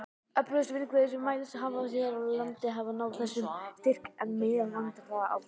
Öflugustu vindhviður sem mælst hafa hér á landi hafa náð þessum styrk, en meðalvindhraði aldrei.